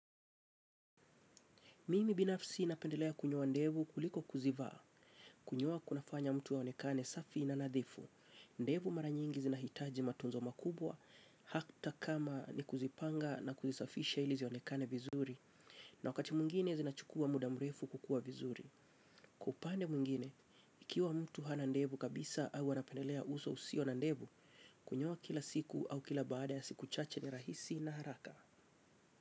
Mimi binafsi napendelea kunyoa ndevu kuliko kuzivaa, kunyoa kunafanya mtu aonekane safi na nadhifu. Ndevu mara nyingi zinahitaji matunzo makubwa, hata kama ni kuzipanga na kuzisafisha ili zionekane vizuri. Na wakati mwingine zinachukua muda mrefu kukua vizuri. Upande mwingine, ikiwa mtu hana ndevu kabisa au anapendelea uso usio na ndevu, kunyoa kila siku au kila baada ya siku chache ni rahisi na haraka.